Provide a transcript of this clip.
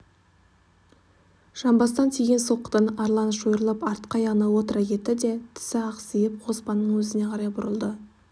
жамбастан тиген соққыдан арлан шойырылып артқы аяғына отыра кетті де тісі ақсиып қоспанның өзіне қарай бұрылды